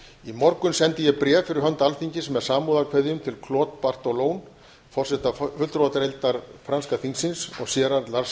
í morgun sendi ég bréf fyrir hönd alþingis með samúðarkveðjum til claudes bartolones forseta fulltrúadeildar franska þingsins gérards